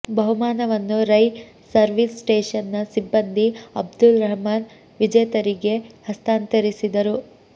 ಬಹುಮಾನವನ್ನು ರೈ ಸರ್ವೀಸ್ ಸ್ಟೇಷನ್ನ ಸಿಬ್ಬಂದಿ ಅಬ್ದುಲ್ ರಹ್ಮಾನ್ ವಿಜೇತರಿಗೆ ಹಸ್ತಾಂತರಿಸಿದರು